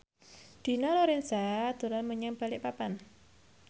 Dina Lorenza dolan menyang Balikpapan